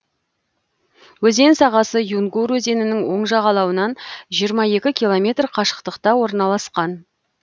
өзен сағасы юнгур өзенінің оң жағалауынан жиырма екі километр қашықтықта орналасқан